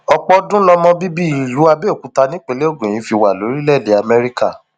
ọpọ ọdún lọmọ bíbí ìlú abẹọkútà nìpínlẹ ogun yìí fi wà lórílẹèdè amẹríkà